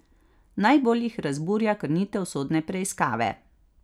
Najbolj jih razburja krnitev sodne preiskave.